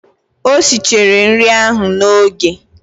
O sichara nri ahụ n'oge.